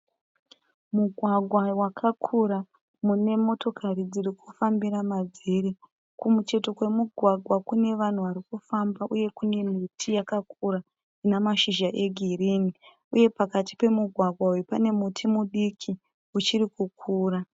Mugwagwa wakakura mune motokari dziri kufambira madziri. Kumucheto kwemugwagwa kune vanhu vari kufamba uye kune miti yakakura ine mashizha egirinhi uye pakati pemugwagwa uyu pane muti mudiki uchiri kukura.